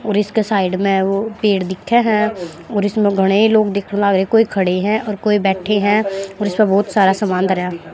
और इसके साइड में वो पेड़ दिखे हैं और इसमें घणे लोग दिखण लागे कोई खड़े हैं और कोई बैठे हैं और इस पे बहुत सारा समान धराया।